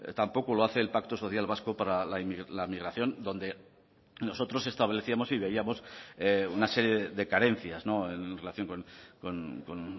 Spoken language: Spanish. tampoco lo hace el pacto social vasco para la migración donde nosotros establecíamos y veíamos una serie de carencias en relación con